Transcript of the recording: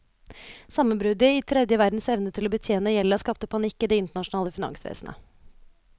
Sammenbruddet i tredje verdens evne til å betjene gjelda skapte panikk i det internasjonale finansvesnet.